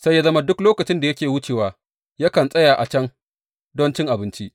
Sai ya zama duk lokacin da yake wucewa, yakan tsaya a can don cin abinci.